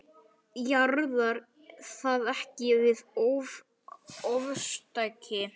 Jaðrar það ekki við ofstæki?